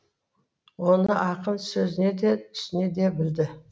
оны ақын сөзіне де түсіне де білді